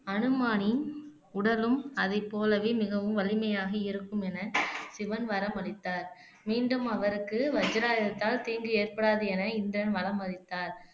அனுமானின் உடலும் அதைப் போலவே மிகவும் வலிமையாக இருக்கும் என சிவன் வரமளித்தார் மீண்டும் அவருக்கு வஜ்ராயுதத்தால் தீங்கு ஏற்படாது என இந்திரன் வரம் அளித்தார்